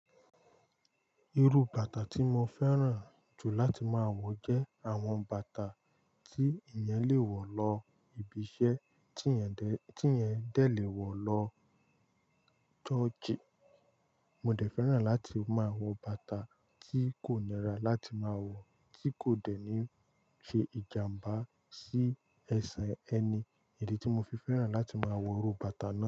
Irú bàtà tí mo fẹ́ràn jù láti máa wọ jẹ́ àwọn bàtà tí èèyàn lè wọ̀ lọ ibi iṣẹ́, tí èèyàn de, tí èèyàn dẹ̀ lè wọ̀ lọ churchi. Mo dẹ̀ fẹ́ràn láti máa wọ bàtà tí kò nira láti máa wọ, tí kò dẹ̀ ní fi ìjàmbá sí ẹsẹ̀ ẹni. Èyí ni tí mo fi fẹ́ràn láti máa wọ irú bàtà náà.